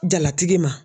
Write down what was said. Jalatigi ma